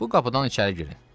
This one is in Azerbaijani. Bu qapıdan içəri girin."